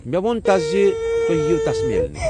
مےٚ ووٚن تس زِ تُہۍ ییِو٘ تَس میلنہِ ۔